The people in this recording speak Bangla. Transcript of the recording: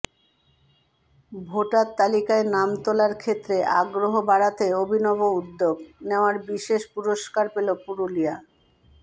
ভোটার তালিকায় নাম তোলার ক্ষেত্রে আগ্রহ বাড়াতে অভিনব উদ্যোগ নেওয়ায় বিশেষ পুরস্কার পেল পুরুলিয়া